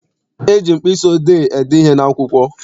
E ji mkpịsị odee ede ihe n'akwụkwọ.